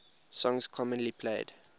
songs commonly played